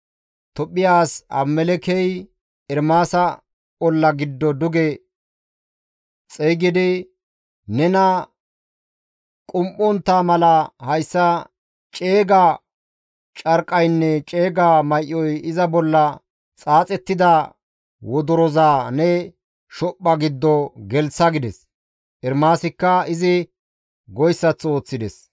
Tophphiya as Abimelekkey Ermaasa olla giddo duge xeygidi, «Nena qum7ontta mala hayssa ceega carqqaynne ceega may7oy iza bolla xaaxettida wodoroza ne shophpha giddo gelththa» gides. Ermaasikka izi goyssaththo ooththides.